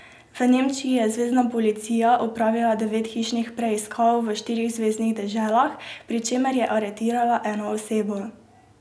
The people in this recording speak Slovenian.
V Nemčiji je zvezna policija opravila devet hišnih preiskav v štirih zveznih deželah, pri čemer je aretirala eno osebo.